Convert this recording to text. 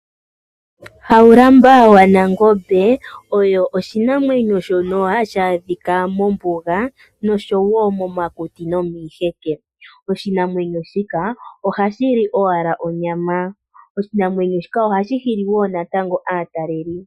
Haulamba wanangombe osho oshinamwenyo shono hashi adhika mombuga, noshowo momakuti nomiiheke. Oshinamwenyo shika ohashili owala onyama, sho ohashi hili wo aatalelipo.